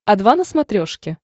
о два на смотрешке